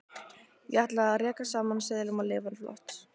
Ég ætla að raka saman seðlum og lifa flott.